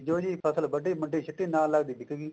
ਬੀਜੋ ਜੀ ਫਸਲ ਵੱਢੀ ਮੰਡੀ ਚ ਸਿੱਟੀ ਨਾਲ ਲੱਗਦੇ ਹੀ ਵਿਕ ਗਈ